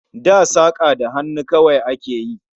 Da saka da hannu kawai a ke yi